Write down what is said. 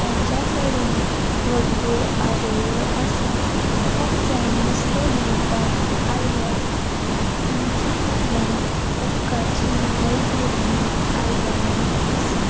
तांचा कडेन वोडल्यो आदोळयो आसा कुब जाण नुस्ते घेवपाक आयल्यात तांचा फाटल्यान उदकाची वोड वोडली आयदाना आसा.